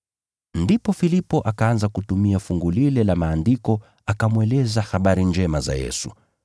Ndipo Filipo akaanza kutumia fungu lile la Maandiko, akamweleza habari njema za Yesu.